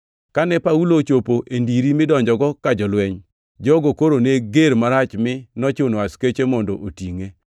Kane Paulo ochopo e ndiri midonjogo ka jolweny, jogo koro ne ger marach mi nochuno askeche mondo otingʼe.